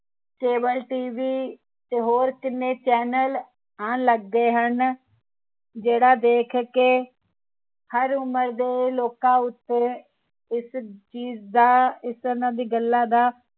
cableTV ਤੇ ਹੋਰ ਕਿੰਨੇ channel ਆਉਣ ਲੱਗ ਗਏ ਹਨ ਜਿਹੜਾ ਦੇਖ ਕੇ ਹਰ ਉਮਰ ਦੇ ਲੋਕਾਂ ਉਤੇ ਇਸ ਚੀਜ਼ ਦਾ ਉਹਨਾਂ ਦੀ ਗੱਲਾਂ ਦਾ